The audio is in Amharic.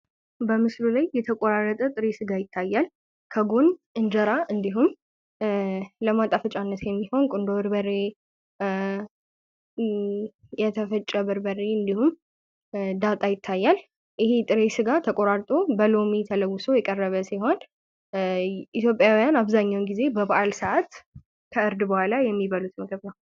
በምስሉ ላይ የተቆራረጠ ጥሬ ስጋ ይታያል። እንዲሁም ጎን እንጀራ ለማጣፈጫነት የሚያገለግል ቁንዶ በርበሬ፤ የተፈጨ በርበሬ እንዲሁም ዳጣ ይታያል። ይህ ጥሬ ስጋ በሎሚ ተለውሶ የቀረበ ሲሆን ኢትዮጵያውያን ከዕርድ በኋላ የሚበሉት ምግብ ነው።